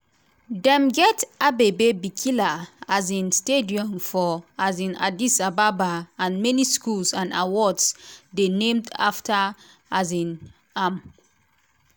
dem get abebe bikila um stadium for um addis ababa and many schools and awards dey named afta um am.